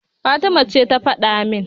Fatima ce ta faɗa min.